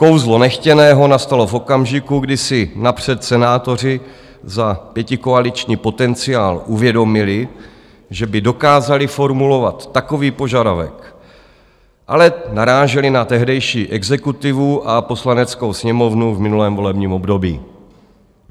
Kouzlo nechtěného nastalo v okamžiku, kdy si napřed senátoři za pětikoaliční potenciál uvědomili, že by dokázali formulovat takový požadavek, ale naráželi na tehdejší exekutivu a Poslaneckou sněmovnu v minulém volebním období.